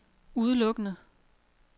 udelukkende